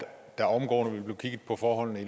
der omgående ville blive kigget på forholdene